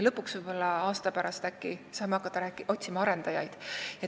Lõpuks, võib-olla aasta pärast saame äkki hakata otsima arendajaid.